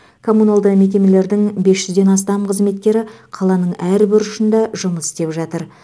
коммуналды мекемелердің бес жүзден астам қызметкері қаланың әр бұрышында жұмыс істеп жатыр